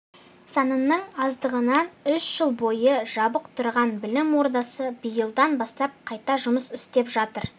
санының аздығынан үш жыл бойы жабық тұрған білім ордасы биылдан бастап қайта жұмыс істеп жатыр